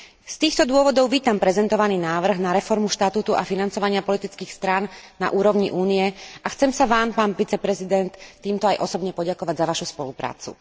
Z týchto dôvodov vítam prezentovaný návrh na reformu štatútu a financovania politických strán na úrovni Únie a chcem sa Vám, pán viceprezident, týmto aj osobne poďakovať za Vašu spoluprácu.